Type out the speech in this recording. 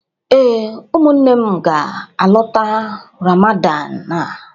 Ee, ụmụnne m na-alọta Ramadan a.